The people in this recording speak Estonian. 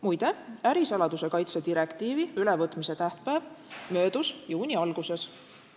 Muide, ärisaladuse kaitse direktiivi ülevõtmise tähtpäev möödus juuni alguses.